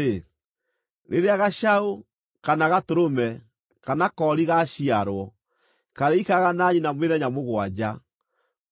“Rĩrĩa gacaũ, kana gatũrũme, kana koori gaaciarwo, karĩikaraga na nyina mĩthenya mũgwanja.